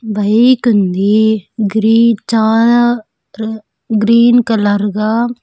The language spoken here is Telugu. బైకుంది గ్రీటా రు గ్రీన్ కలర్గా --